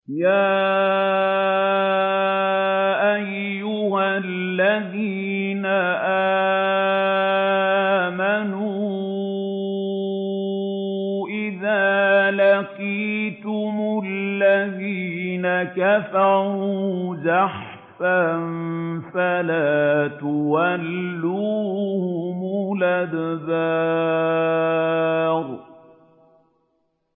يَا أَيُّهَا الَّذِينَ آمَنُوا إِذَا لَقِيتُمُ الَّذِينَ كَفَرُوا زَحْفًا فَلَا تُوَلُّوهُمُ الْأَدْبَارَ